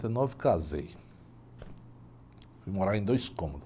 e nove, casei, fui morar em dois cômodos.